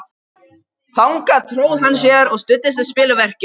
Þangað tróð hann sér og studdist við spilverkið.